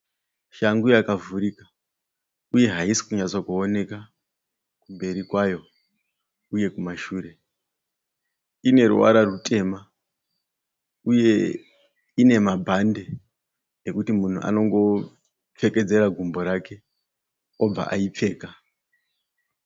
Shangu yakavhurika uye haisi kunyatsokuoneka kumberi kwayo uye kumashure. Ine ruvara rwutema uye nemabhande ekuti munhu anongopfekedzera gumbo rake obva aipfeka.